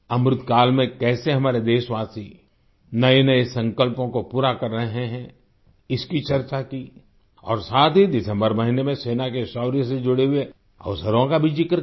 अमृतकाल में कैसे हमारे देशवासी नएनए संकल्पों को पूरा कर रहे हैं इसकी चर्चा की और साथ ही दिसम्बर महीने में सेना के शौर्य से जुड़े हुए अवसरों का भी जिक्र किया